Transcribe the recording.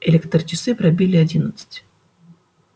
электрочасы пробили одиннадцать